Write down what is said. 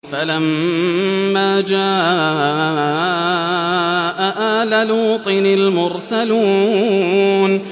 فَلَمَّا جَاءَ آلَ لُوطٍ الْمُرْسَلُونَ